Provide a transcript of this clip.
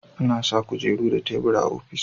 A na sa kujeru da tebur a ofis